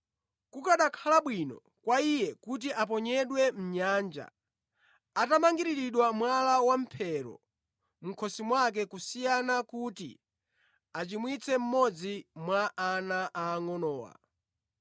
Kukanakhala bwino kwa iye kuti aponyedwe mʼnyanja atamangiriridwa mwala wamphero mʼkhosi mwake kusiyana kuti achimwitse mmodzi mwa ana aangʼonowa.